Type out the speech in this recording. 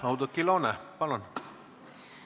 Oudekki Loone, palun!